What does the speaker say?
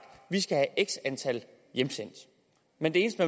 vi skal have x antal hjemsendt men det eneste